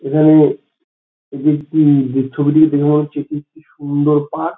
এখানে এটি একটি ছবিটিকে দেখে মনে হচ্ছে এটি একটি খুব সুন্দর পার্ক ।